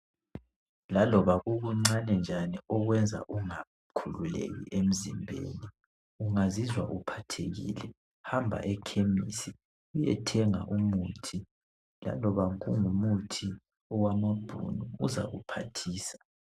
Laloba kukuncane njani okwenza ungakhululeki emzimbeni .Ungazizwa uphathekile hamba ekhemisi uyethenga umuthi .Laloba kungumuthi owamabhunu uzakuphathisa